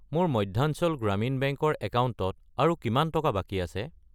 মোৰ মধ্যাঞ্চল গ্ৰামীণ বেংক ৰ একাউণ্টত আৰু কিমান টকা বাকী আছে?